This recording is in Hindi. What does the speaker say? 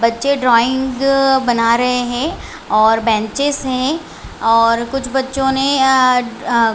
बच्चे ड्रॉइंग बना रहे है और बैनचेस है और कुछ बच्चो ने अ अ--